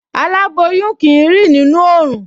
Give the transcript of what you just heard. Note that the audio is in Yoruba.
Aláboyún kì í rìn nínú oòrùn